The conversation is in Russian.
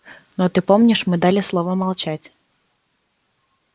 но ты помнишь мы дали слово молчать